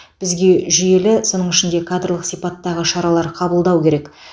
бізге жүйелі соның ішінде кадрлық сипаттағы шаралар қабылдау керек